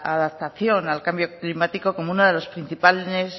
adaptación al cambio climático como una de las principales